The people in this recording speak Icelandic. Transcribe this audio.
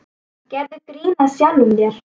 Gerðu grín að sjálfum þér.